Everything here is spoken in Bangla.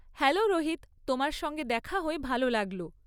হ্যালো রোহিত, তোমার সঙ্গে দেখা হয়ে ভাল লাগল।